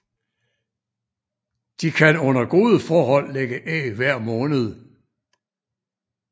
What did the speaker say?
De kan under gode forhold lægge æg hver måned